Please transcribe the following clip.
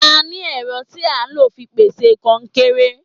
A ní ẹ̀rọ tí a ń lò fi pèsè kọnkéré.